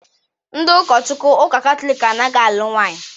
Ndị ụkọchukwu Ụka Katọlik anaghị alụ nwaanyị.